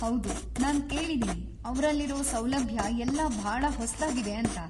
ಹೌದು, ನಾನ್ ಕೇಳಿದೀನಿ ಅವ್ರಲ್ಲಿರೋ ಸೌಲಭ್ಯ ಎಲ್ಲ ಭಾಳ ಹೊಸ್ದಾಗಿವೆ ಅಂತ.